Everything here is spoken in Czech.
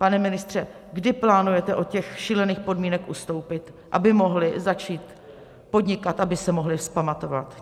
Pane ministře, kdy plánujete od těch šílených podmínek ustoupit, aby mohli začít podnikat, aby se mohli vzpamatovat?